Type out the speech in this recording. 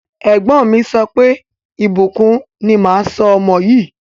Ẹ̀gbọ́n mi sọ pé, Ìbùkún ni máa sọ ọmọ yìí.